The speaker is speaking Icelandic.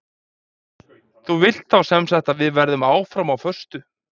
Þú vilt þá sem sagt að við verðum áfram á föstu?